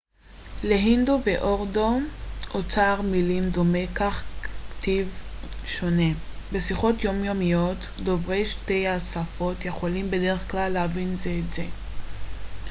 להינדו ולאורדו אוצר מילים דומה אך כתיב שונה בשיחות יומיומיות דוברי שתי השפות יכולים בדרך כלל להבין זה את זה